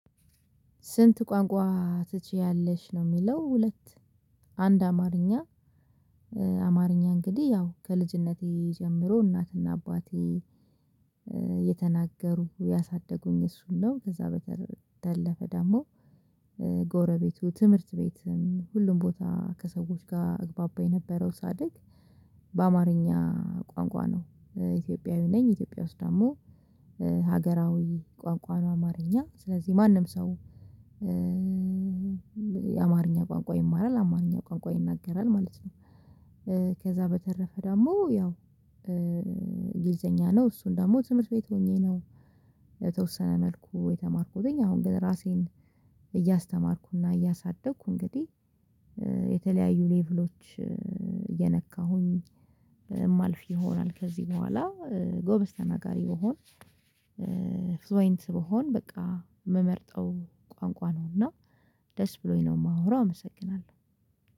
ስንት ቋንቋ ትችያለሽ ነው የሚለው? ሁለት አንድ አማርኛ አማርኛ እንግዲህ ያው ከልጅነቴ ጀምሮ እናትና አባቴ እየተናገሩ ያሳደጉኝ እሱ ነው። ከዛ በተረፈ ደግሞ ጎረቤቱ ትምህርት ቤት ሁሉም ቦታ ከሰዎች ጋር እግባባ የነበረው ሳድግ በአማርኛ ቋንቋ ነው። ኢትዮጵያዊ ነኝ ኢትዮጵያ ውስጥ ደግሞ ሀገራዊ ቋንቋ ነው አማርኛ ስለዚህ ማንም ሰው የአማርኛ ቋንቋ ይማራል አማርኛ ቋንቋ ይናገራል ማለት ነው። ከዛ በተረፈ ደግሞ ያው እንግሊዝኛ ነው እሱን ደግሞ ትምህርት ቤት ሆኜ ነው። በተወሰነ መልኩ የተማርኩተኝ አሁን ግን ራሴን እያስተማርኩና እያሳደግኩ እንግዲህ የተለያዩ ሌቭሎች እየነካሁኝ የማልፍ ይሆናል። ከዚህ በኋላ ጎበዝ ተናጋሪ ብሆን ፍሉየንት ብሆን በቃ የምመርጠው ቋንቋ ነዉና ደስ ብሎኝ ነው የማወራው። አመሰግናለሁ